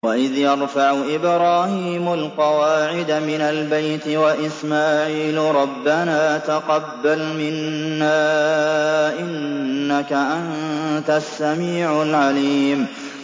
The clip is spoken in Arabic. وَإِذْ يَرْفَعُ إِبْرَاهِيمُ الْقَوَاعِدَ مِنَ الْبَيْتِ وَإِسْمَاعِيلُ رَبَّنَا تَقَبَّلْ مِنَّا ۖ إِنَّكَ أَنتَ السَّمِيعُ الْعَلِيمُ